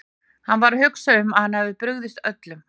Hann var að hugsa um að hann hefði brugðist öllum.